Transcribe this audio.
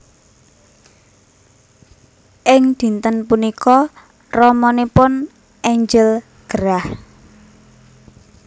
Ing dinten punika ramanipun Angel gerah